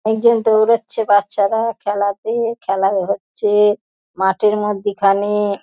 একজন দৌড়াচ্ছে বাচ্চারা খেলা পেয়ে খেলা হচ্ছে মাঠের মধ্যিখানে ।